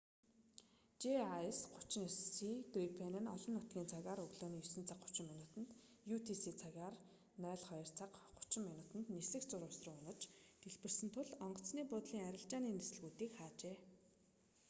жас 39си грипен нь орон нутгийн цагаар өглөөний 9 цаг 30 минутанд utc цагаар 02 цаг 30 минут нисэх зурвас руу унаж дэлбэрсэн тул онгоцны буудлын арилжааны нислэгүүдийг хаажээ